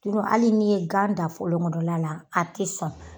Tunu ali ni ye gan dan fɔlon kɔnɔna la a te sɔn